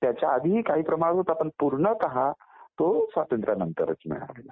त्याच्याआधी काही प्रमाणात होता पण पूर्णतः तो स्वातंत्र्यानंतरच मिळाला